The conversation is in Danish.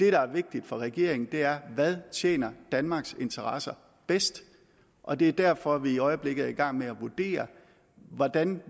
er vigtigt for regeringen er hvad tjener danmarks interesser bedst og det er derfor vi i øjeblikket er i gang med at vurdere hvordan